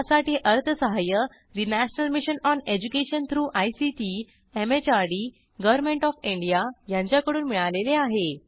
यासाठी अर्थसहाय्य National Mission on Education through ICT MHRD Government of India यांच्याकडून मिळालेले आहे